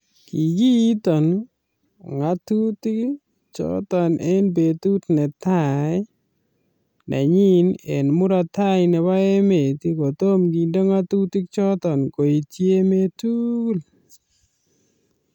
Kikitoo ngatutik choton en betut neta nenyin en murot tai nebo emet kotom kinde ngatutik choton koityi emet tugul